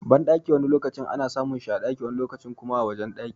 Banɗaki wani lokaci ana samun shi a ɗaki wani lokaci kuma a wajen ɗaki.